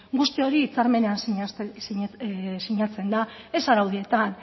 guzti hori hitzarmenean sinatzen da ez araudietan